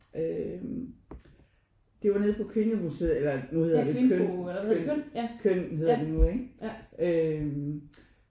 Øh det var nede på Kvindemuseet eller nu hedder det KØN KØN KØN hedder det nu ikke øh